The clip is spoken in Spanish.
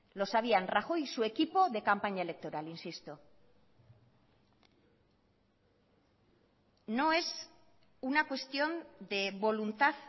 lo sabían rajoy y su equipo de campaña electoral insisto no es una cuestión de voluntad